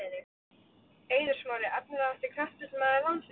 Eiður Smári Efnilegasti knattspyrnumaður landsins?